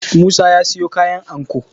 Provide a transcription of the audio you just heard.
musa ya siyo kayan anko